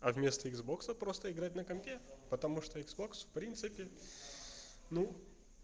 а вместо иксбокса просто играть на компе потому что иксбокс в принципе ну